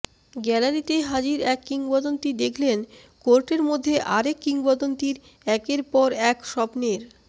গ্যালারিতে হাজির এক কিংবদন্তি দেখলেন কোর্টের মধ্যে আর এক কিংবদন্তির একের পর এক স্বপ্নের